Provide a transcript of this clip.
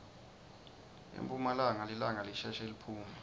emphumalanga lilanga lisheshe liphume